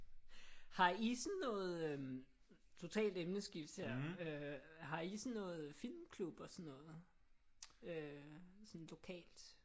Har I sådan noget øh totalt emneskift her øh har I sådan noget filmklub og sådan noget sådan lokalt?